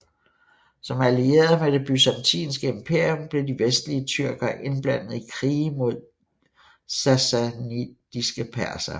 Som allierede med det Byzantinske Imperium blev de vestlige tyrkere indblandede i krige mod de sassanidiske persere